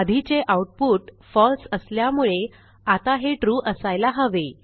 आधीचे आऊटपुट फळसे असल्यामुळे आता हे trueअसायला हवे